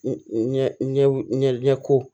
Ɲɛ ɲɛko